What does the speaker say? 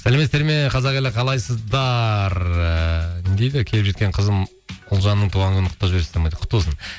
сәлеметсіздер ме қазақ елі қалайсыздар ы не дейді келіп жеткен қызым ұлжанның туған күнін құттықтап жібересіздер ме құтты болсын